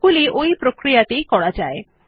ওগুলি ওই একই প্রক্রিয়ায় করা যায়